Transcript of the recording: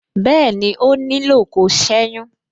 Bẹẹni, ó nílò kó seyun.